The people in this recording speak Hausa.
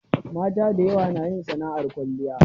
Mata da yawa na yin sana'ar kwalliya.